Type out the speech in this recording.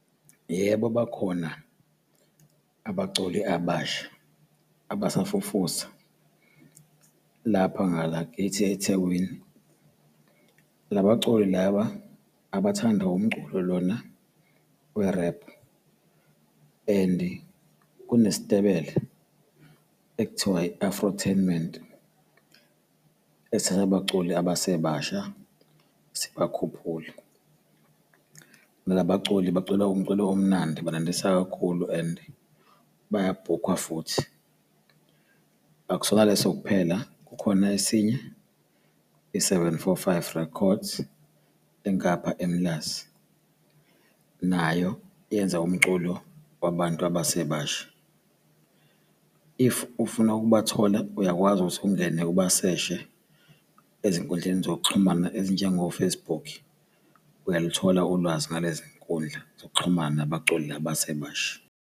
Yebo, bakhona abaculi abasha abasafufusa lapha ngakithi eThekwini. Laba culi laba abathanda umculo lona we-rap, and kunesitebele ekuthiwa i-Afrotainment, esithatha abaculi abasebasha sibakhuphule. Nalaba baculi bacula umculo omnandi banandisa kakhulu and bayabhukhwa futhi. Akusona leso kuphela, khona esinye, i-Seven Four Five Records, engapha eMlazi, nayo yenza umculo wabantu abasebasha. If ufuna ukubathola, uyakwazi ukuthi ungene ubaseshe ezinkundleni zokuxhumana ezinjengo-Facebook. Uyaluthola ulwazi ngalezi nkundla zokuxhumana nabaculi laba abasebasha.